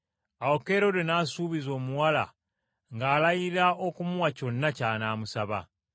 Awo Kerode n’asuubiza omuwala ng’alayira okumuwa kyonna ky’anaamusaba.